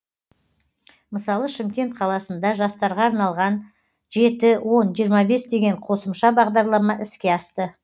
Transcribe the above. мысалы шымкент қаласында жастарға арналған жеті он жиырма бес деген қосымша бағдарлама іске асты